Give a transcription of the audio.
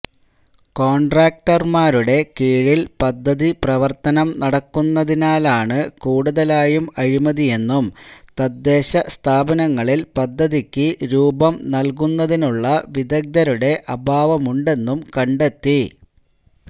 കോണ്ട്രാക്റ്റര്മാരുടെ കീഴില് പദ്ധതി പ്രവര്ത്തനം നടക്കുന്നതിനാലാണ് കൂടുതലായും അഴിമതിയെന്നും തദ്ദേശസ്ഥാപനങ്ങളില് പദ്ധതിക്ക് രൂപം നല്കുന്നതിനുള്ള വിദഗ്ദരുടെ അഭാവമുണ്ടെന്നും കണ്ടെത്തി